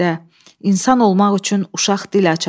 İnsan olmaq üçün uşaq dil açar.